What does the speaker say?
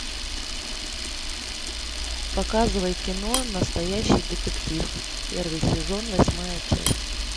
показывай кино настоящий детектив первый сезон восьмая часть